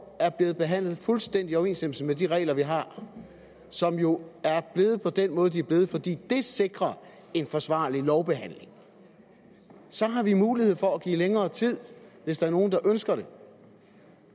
er blevet behandlet fuldstændig i overensstemmelse med de regler vi har og som jo er blevet på den måde de er blevet fordi det sikrer en forsvarlig lovbehandling så har vi mulighed for at give længere tid hvis der er nogen der ønsker det